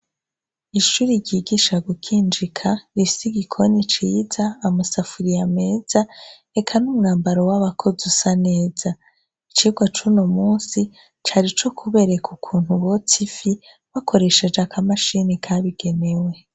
Ishuri yigisha gukinjika ifisi igikoni ciza amasafuriye ameza eka n' umwambaro w'abakozi usa neza icirwa cuno musi cari co kubereka ukuntu botsifi wakoresheje akamashini kabigenewe.